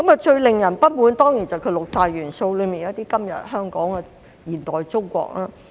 最令人不滿的，當然是六大單元中的"今日香港"和"現代中國"。